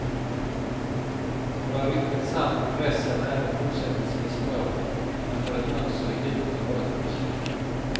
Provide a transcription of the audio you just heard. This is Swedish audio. Talar ryktet sant blir dressen även fortsättningsvis mörk men får ett mönster i gult och rött.